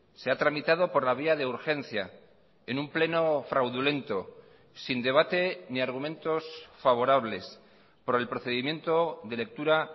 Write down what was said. se ha tramitado por la vía de urgencia en un pleno fraudulento sin debate ni argumentos favorables por el procedimiento de lectura